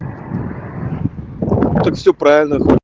так все правильно